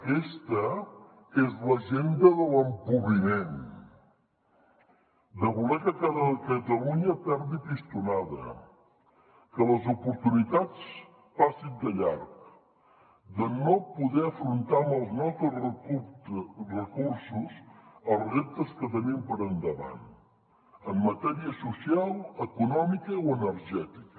aquesta és l’agenda de l’empobriment de voler que catalunya perdi pistonada que les oportunitats passin de llarg de no poder afrontar amb els nostres recursos els reptes que tenim per davant en matèria social econòmica o energètica